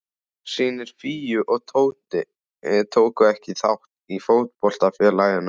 Synir Fíu og Tóta tóku ekki þátt í fótboltafélaginu.